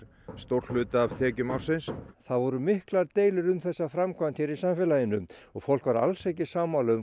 stór hluti af tekjum ársins það voru miklar deilur um þessa framkvæmd hér í samfélaginu og fólk var alls ekki sammála um